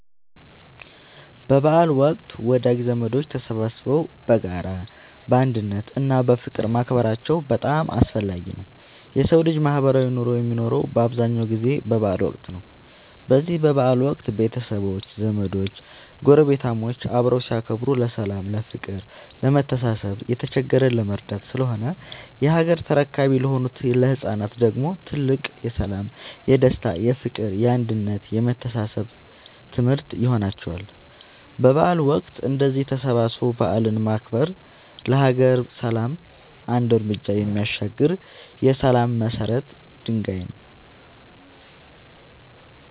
በበዓል ወቅት ወዳጅ ዘመዶች ተሰባስበው በጋራ፣ በአንድነት እና በፍቅር ማክበራቸው በጣም አስፈላጊ ነው የሠው ልጅ ማህበራዊ ኑሮ የሚኖረው በአብዛኛው ጊዜ በበዓል ወቅት ነው። በዚህ በበዓል ወቅት ቤተሰቦች፣ ዘመዶች ጐረቤታሞች አብረው ሲያከብሩ ለሠላም፤ ለፍቅር፣ ለመተሳሰብ፣ የተቸገረን ለመርዳት ስለሆነ የሀገር ተረካቢ ለሆኑት ለህፃናት ደግሞ ትልቅ የሠላም፣ የደስታ፣ የፍቅር፣ የአንድነት የመተሳሰብ ትምህርት ይሆንላቸዋል። በበዓል ወቅት እንደዚህ ተሰባስቦ በዓልን ማክበር ለሀገር ሰላም አንድ ርምጃ የሚያሻግር የሠላም የመሰረት ድንጋይ ይጥላል።